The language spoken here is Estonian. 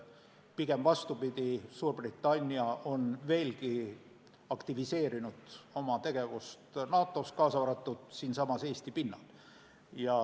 Pigem vastupidi, Suurbritannia on veelgi aktiviseerinud oma tegevust NATO-s, kaasa arvatud siinsamas Eesti pinnal.